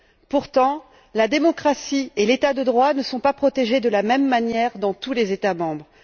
Pourtant, la démocratie et l'état de droit ne sont pas protégés de la même manière dans tous les États membres.